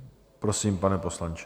Prosím, pane poslanče.